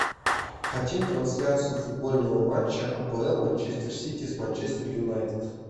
хотим трансляцию футбольного матча апл манчестер сити с манчестер юнайтед